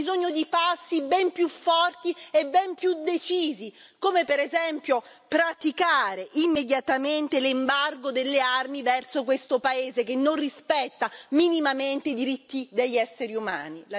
Noi abbiamo bisogno di passi ben più forti e ben più decisi, come per esempio praticare immediatamente l'embargo delle armi verso questo paese che non rispetta minimamente i diritti degli esseri umani.